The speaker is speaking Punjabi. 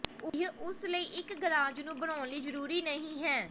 ਇਹ ਉਸ ਲਈ ਇੱਕ ਗਰਾਜ ਨੂੰ ਬਣਾਉਣ ਲਈ ਜ਼ਰੂਰੀ ਨਹੀ ਹੈ